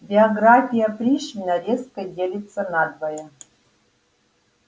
биография пришвина резко делится надвое